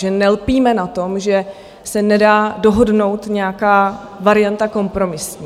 Že nelpíme na tom, že se nedá dohodnout nějaká varianta kompromisní.